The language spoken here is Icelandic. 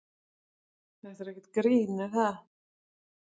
Þetta er ekkert grín er það?